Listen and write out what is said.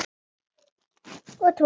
Og trúað mér!